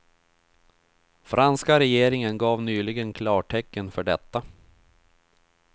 Franska regeringen gav nyligen klartecken för detta.